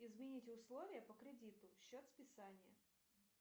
изменить условия по кредиту счет списания